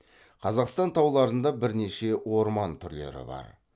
қазақстан тауларында бірнеше орман түрлері бар